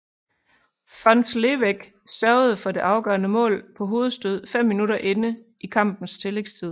Fons Leweck sørgede for det afgørende mål på hovedstød fem minutter inde i kampens tillægstid